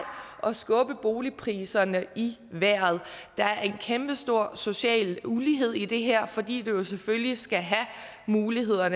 at skubbe boligpriserne i vejret der er en kæmpestor social ulighed i det her fordi man jo selvfølgelig skal have muligheden